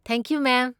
Thank you, ꯃꯦꯝ꯫